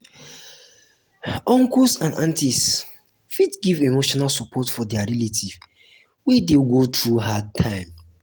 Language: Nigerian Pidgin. uncles and aunties aunties fit give emotional support for their relative wey de go through hard time